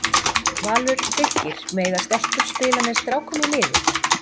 Valur- Fylkir- Mega stelpur spila með strákum í liði?